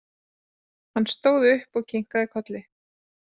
Hann stóð upp og kinkaði kolli.